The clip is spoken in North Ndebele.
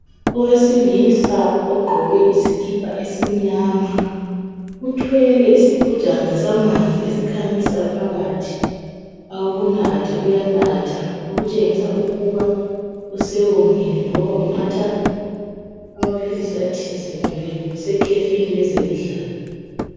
Owesilisa ogqoke isikipa esimnyama. Uthwele isigujana samanzi esikhanyisayo phakathi awokunatha. Uyanatha, okutshengisa ukuba usewomile, loba unatha amaphilisi athize, kumbe usekhefini lezemidlalo.